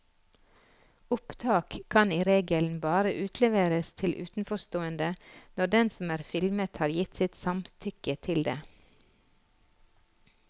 Opptak kan i regelen bare utleveres til utenforstående når den som er filmet har gitt sitt samtykke til det.